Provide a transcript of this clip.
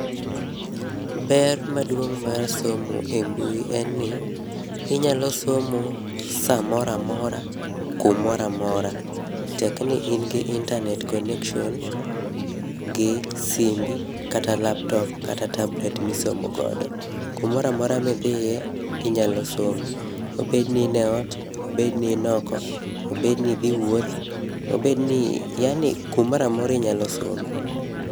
Ber maduong' mar somo e mbui en ni, inyalo somo samoro amora, kumoro amora, tekni in gi internate connection gi simbi ,kata laptop kata tablet misomo godo. Kumoro amora midhiye, inyalo somo. Obed ni in eot, obed ni in oko, obed ni idhi wuoth, obed ni yani kumoro amora inyalo some.